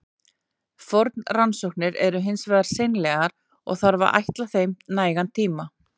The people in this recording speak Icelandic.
Forrannsóknir eru hins vegar seinlegar, og þarf að ætla þeim nægan tíma.